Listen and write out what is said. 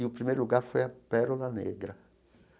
E o primeiro lugar foi a Pérola Negra.